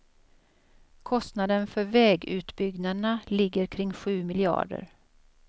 Kostnaden för vägutbyggnaderna ligger kring sju miljarder.